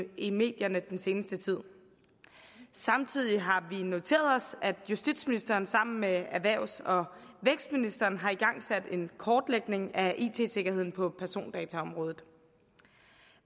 i medierne i den seneste tid samtidig har vi noteret os at justitsministeren sammen med erhvervs og vækstministeren har igangsat en kortlægning af it sikkerheden på persondataområdet